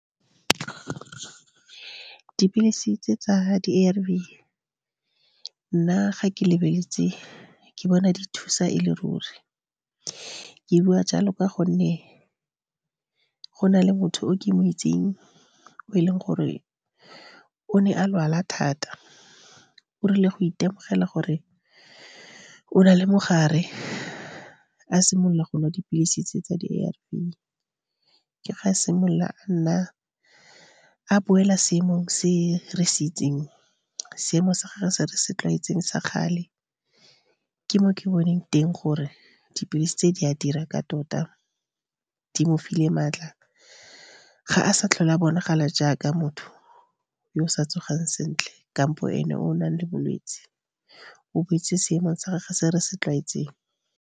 Dipilisi tse tsa di A_R_V. Nna, ga ke lebeletse, ke bona di thusa e le ruri. Ke bua jalo ka gonne go na le motho o ke mo itseng, o e leng gore o ne a lwala thata. E rile go itemogela gore o na le mogare, a simolola go nwa dipilisi tse tsa di A_R_V. Ke fa simolola a nna, a boela seemo se re se itseng seemo sa gagwe se re se tlwaetseng sa kgale. Ke mo ke boneng teng gore dipilisi tse di a dira. Ka tota, di mofile maatla ga a sa tlhole a bonagala jaaka motho yo o sa tsogang sentle, kampo ene o nang le bolwetse o boetse seemong sa gagwe se re se tlwaetseng.